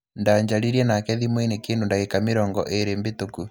Ndajaririe nake thimũ-inĩ kindu ndagĩka mĩrongo ĩrĩ bĩtũku.